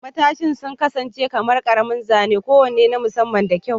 Matashin sun kasance kamar ƙaramin zane kowane na musamman da kyau.